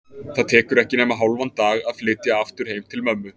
Það tekur ekki nema hálfan dag að flytja aftur heim til mömmu.